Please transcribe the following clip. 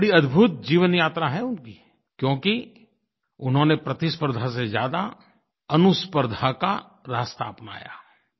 बड़ी अदभुत जीवन यात्रा है उनकी क्योंकि उन्होंने प्रतिस्पर्द्धा से ज्यादा अनुस्पर्द्धा का रास्ता अपनाया